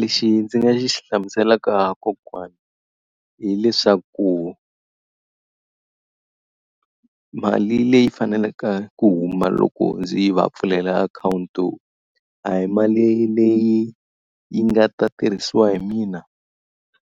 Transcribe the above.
Lexi ndzi nga xi hlamuselaka kokwana hileswaku mali leyi faneleke ku huma loko ndzi yi va pfulela akhawunti, a hi mali leyi yi nga ta tirhisiwa hi mina